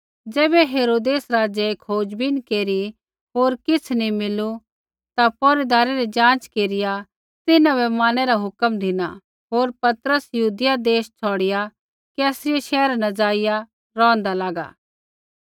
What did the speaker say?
ज़ैबै हेरोदेस राज़ै खोजबीन केरी होर किछ़ नी मिलू ता पैहरैदारै री ज़ाँच केरिआ तिन्हां बै मारनै रा हुक्म धिना होर पतरस यहूदिया देश छ़ौड़िआ कैसरिया शैहरा न ज़ाइआ रौंहदा लागा